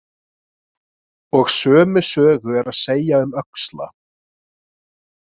Og sömu sögu er að segja um öxla.